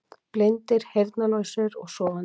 Blindir, heyrnarlausir og sofandi.